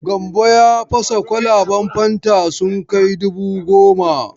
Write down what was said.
Gambo ya fasa kwalaban fanta sun kai dubu gomo.